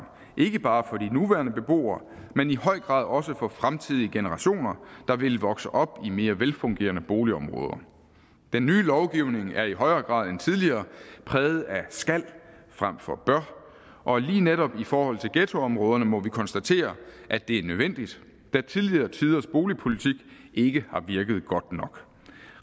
ikke bare for de nuværende beboere men i høj grad også for fremtidige generationer der vil vokse op i mere velfungerende boligområder den nye lovgivning er i højere grad end tidligere præget af skal frem for bør og lige netop i forhold til ghettoområderne må vi konstatere at det er nødvendigt da tidligere tiders boligpolitik ikke har virket godt nok